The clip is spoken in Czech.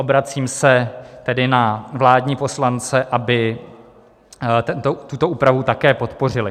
Obracím se tedy na vládní poslance, aby tuto úpravu také podpořili.